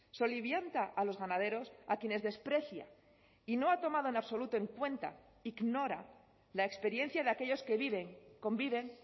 solivianta a los ganaderos a quienes desprecia y no ha tomado en absoluto en cuenta ignora la experiencia de aquellos que viven conviven